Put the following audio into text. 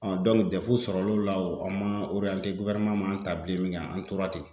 sɔrɔ l'o la , an ma man ta bilen min kɛ an tora ten.